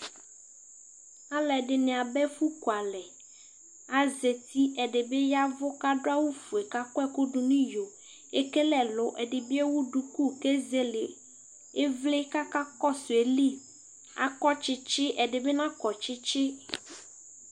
aloɛdini aba ɛfu kualɛ azati ɛdi bi yavu k'ado awu fue k'akɔ ɛkò do n'iyo ekele ɛlu ɛdi bi ewu duku k'ezele ivli k'aka kɔsu ayili akɔ tsitsi ɛdi bi nakɔ tsitsi